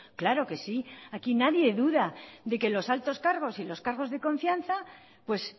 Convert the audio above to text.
claro que sí aquí nadie duda de que los altos cargos y los cargos de confianza pues